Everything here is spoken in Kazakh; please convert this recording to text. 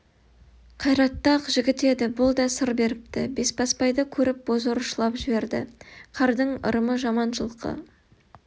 қайратты-ақ жігіт еді бұл да сыр беріпті бесбасбайды көріп бозорыс жылап жіберді қардың ырымы жаман жылқы